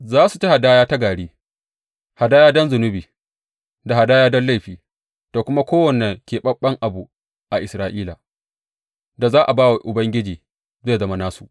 Za su ci hadaya ta gari, hadaya don zunubi da hadaya don laifi; da kuma kowane keɓaɓɓen abu a Isra’ila da za a ba wa Ubangiji zai zama nasu.